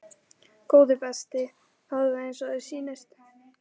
Góði besti, hafðu það eins og þér sýnist